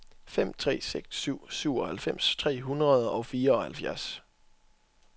fem tre seks syv syvoghalvfems tre hundrede og fireoghalvfjerds